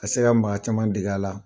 Ka se ka maa caman dege la.